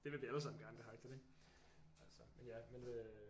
Det vil vi allesammen gerne det her agtigt ikke altså men ja men øh